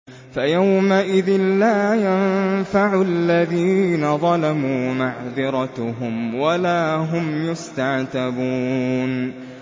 فَيَوْمَئِذٍ لَّا يَنفَعُ الَّذِينَ ظَلَمُوا مَعْذِرَتُهُمْ وَلَا هُمْ يُسْتَعْتَبُونَ